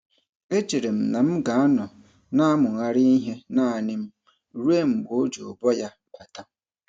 E chere m na m ga-anọ na-amụgharị ihe naanị m ruo mgbe o ji ụbọ ya bata.